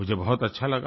मुझे बहुत अच्छा लगा